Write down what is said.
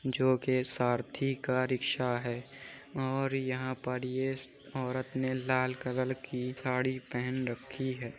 जो के सारथी का रिक्शा है और यहां पर ये औरत ने लाल कलर की साड़ी पहन रखी है।